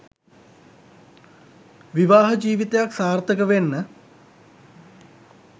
විවාහ ජිවිතයක් සාර්ථක වෙන්න